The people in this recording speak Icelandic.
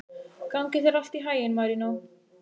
Gangi þér allt í haginn, Marínó.